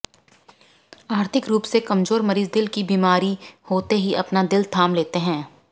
आर्थिक रूप से कमजोर मरीज दिल की बीमारी होते ही अपना दिल थाम लेते हैं